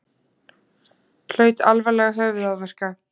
Hlaut alvarlega höfuðáverka